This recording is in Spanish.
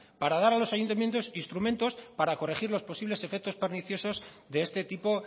para dar a los ayuntamientos instrumentos para corregir los posibles efectos perniciosos de este tipo